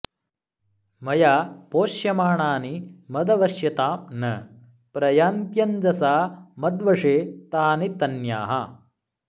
मया पोष्यमाणानि मद्वश्यतां न प्रयान्त्यञ्जसा मद्वशे तानि तन्याः